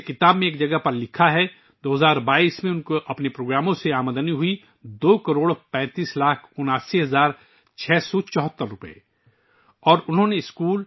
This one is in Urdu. جیسا کہ کتاب میں ایک جگہ لکھا گیا ہے کہ 2022 میں انہوں نے اپنے پروگراموں سے دو کروڑ پینتیس لاکھ اناسی ہزار چھ سو چوہتر روپے کمائے